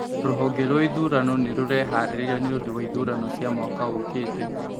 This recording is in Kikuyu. Rũhonge rwa ithurano nĩ rũreharĩria nĩũndũ wa ithurano cia mwaka ũkĩte